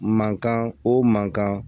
Mankan o man kan